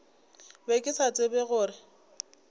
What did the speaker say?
be ke sa tsebe gore